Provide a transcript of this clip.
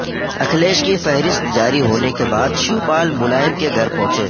اکھلیش کی فہرست جاری ہونے کے بعد شیو پال ملائم کے گھر پہنچے